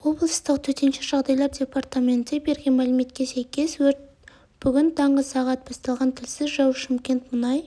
облыстық төтенше жағдайлар департаменті берген мәліметке сәйкес өрт бүгін таңғы сағат басталған тілсіз жау шымкент мұнай